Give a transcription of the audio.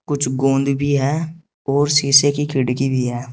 कुछ गोंद भी है और सीसे की खिड़की भीं है।